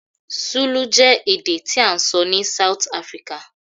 Zulu je èdè ti a n sọ ni South Africa